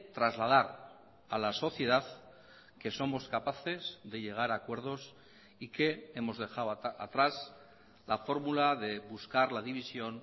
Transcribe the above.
trasladar a la sociedad que somos capaces de llegar a acuerdos y que hemos dejado atrás la fórmula de buscar la división